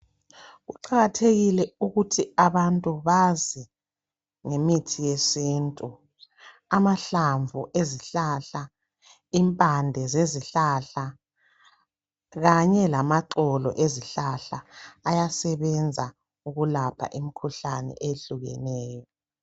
Kuqakathekile ukuthi abantu bazingemithi yesintu amahlamvu ezihlahla impande zezihlahla kanye lamaxolo ezihlahla ayasebenza ukulapha imikhuhlane eyehlukeneyo